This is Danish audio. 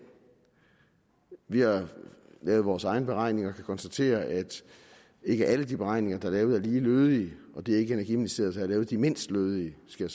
vi har lavet vores egne beregninger og kan konstatere at ikke alle de beregninger der er lavet er lige lødige det er ikke energiministeriet der har lavet de mindst lødige skal